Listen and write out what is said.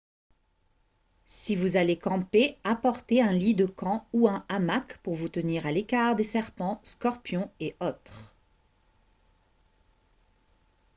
si vous allez camper apportez un lit de camp ou un hamac pour vous tenir à l'écart des serpents scorpions et autres